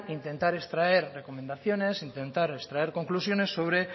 intentar extraer recomendaciones intentar extraer conclusiones sobre